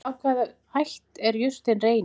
Af hvaða ætt er jurtin Reynir?